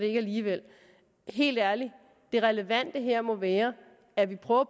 ikke alligevel helt ærligt det relevante her må være at vi prøver